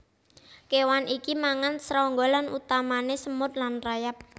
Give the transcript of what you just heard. Kéwan iki mangan srangga lan utamané semut lan rayap